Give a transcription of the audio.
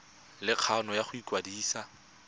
le kgano ya go ikwadisa